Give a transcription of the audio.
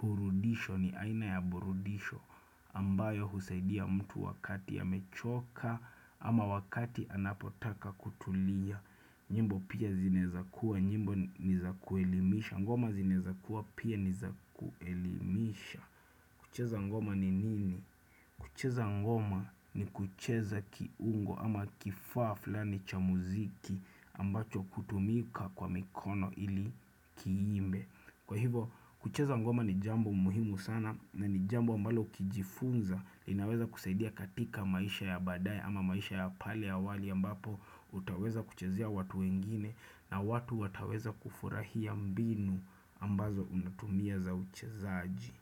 burudisho, ni aina ya burudisho ambayo husaidia mtu wakati amechoka ama wakati anapotaka kutulia. Nyimbo pia zinaeza kuwa, nyimbo ni za kuelimisha. Ngoma zinaeza kuwa pia ni za kuelimisha. Kucheza ngoma ni nini? Kucheza ngoma ni kucheza kiungo ama kifaa flani cha muziki, ambacho hutumika kwa mikono ili kiimbe. Kwa hivo, kucheza ngoma ni jambo muhimu sana na ni jambo ambalo ukijifunza, linaweza kusaidia katika maisha ya badae ama maisha ya pale awali ambapo, utaweza kuchezea watu wengine na watu wataweza kufurahia mbinu, ambazo unatumia za uchezaji.